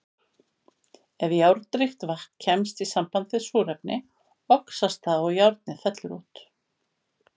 Ef járnríkt vatn kemst í samband við súrefni, oxast það og járnið fellur út.